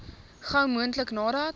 gou moontlik nadat